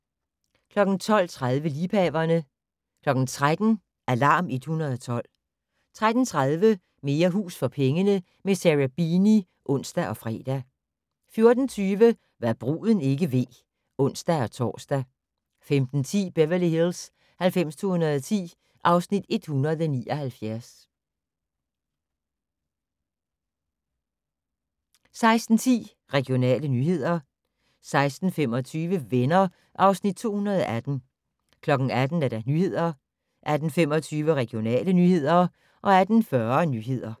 12:30: Liebhaverne 13:00: Alarm 112 13:30: Mere hus for pengene - med Sarah Beeny (ons og fre) 14:20: Hva' bruden ikke ved (ons-tor) 15:10: Beverly Hills 90210 (Afs. 179) 16:10: Regionale nyheder 16:25: Venner (Afs. 218) 18:00: Nyhederne 18:25: Regionale nyheder 18:40: Nyhederne